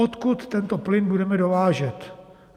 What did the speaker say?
Odkud tento plyn budeme dovážet?